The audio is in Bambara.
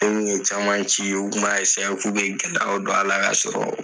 bɛ caman ci u kun ma k'u bɛ gɛlɛyaw don a la k'a sɔrɔ